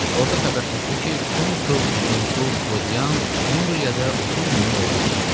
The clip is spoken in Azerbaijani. Orda xəbər tutdu ki, konsul Lentul Klodian Umbriyada 30 minlik ordu düzəldir.